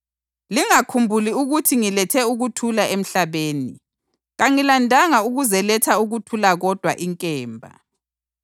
Lingakhumbuli ukuthi ngilethe ukuthula emhlabeni. Kangilandanga ukuzeletha ukuthula kodwa inkemba.